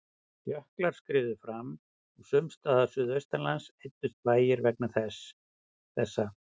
Jöklar skriðu fram og sums staðar suðaustanlands eyddust bæir vegna þessa.